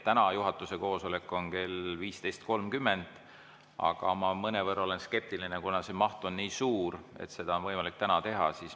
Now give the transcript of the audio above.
Täna juhatuse koosolek on kell 15.30, aga ma olen mõnevõrra skeptiline, et seda oleks võimalik täna teha, kuna see maht on nii suur.